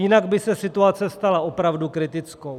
Jinak by se situace stala opravdu kritickou.